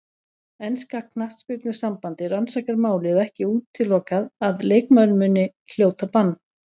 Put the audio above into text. Enska knattspyrnusambandið rannsakar málið og ekki útilokað að leikmaðurinn muni hljóta bann.